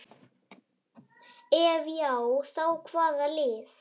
Ef já þá hvaða lið?